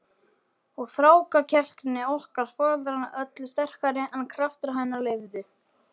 Og þrákelkni okkar foreldranna öllu sterkari en kraftar hennar leyfðu.